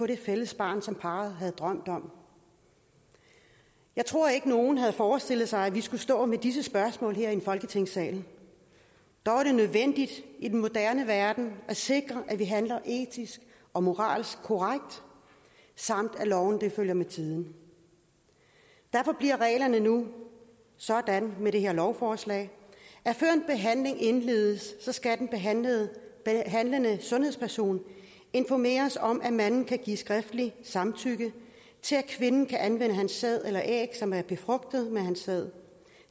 det fælles barn som parret havde drømt om jeg tror ikke at nogen havde forestillet sig at vi skulle stå med disse spørgsmål her i folketingssalen dog er det nødvendigt i den moderne verden at sikre at vi handler etisk og moralsk korrekt samt at lovene følger med tiden derfor bliver reglerne nu sådan med det her lovforslag at før en behandling indledes skal den behandlende sundhedsperson informere om at manden kan give skriftligt samtykke til at kvinden kan anvende hans sæd eller æg som er befrugtet med hans sæd